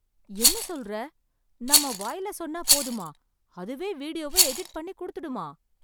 என்ன சொல்ற. நம்ம வாயில சொன்னா போதுமா, அதுவே வீடியோவை எடிட் பண்ணி கொடுத்துடுமா?